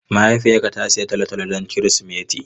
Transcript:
Mahaifiyarka ta sayi tolotolo don Kirsimeti?